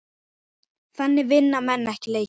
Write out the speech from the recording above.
Þannig vinna menn ekki leiki.